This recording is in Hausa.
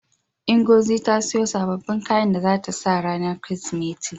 Ngozi ta siyo sababbin kayan da zata saka ranar Kirsimeti.